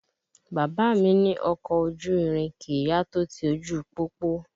Bàbá mí ní ọkọ̀ ojú irin kìí yá tó ti ojú pópó